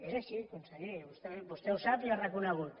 és així conseller i vostè ho sap i ho ha reconegut